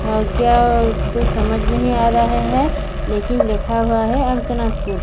तो समझ नहीं आ रहा है लेकिन लिखा हुआ है आंकना स्कूल --